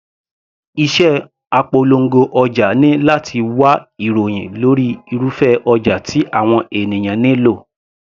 Iṣẹ́ apolongo ọjà ni láti wá ìròhìn lórí irúfẹ́ ọjà tí àwọn ènìyàn nílò.